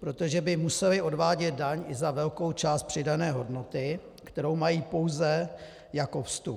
protože by musely odvádět daň i za velkou část přidané hodnoty, kterou mají pouze jako vstup.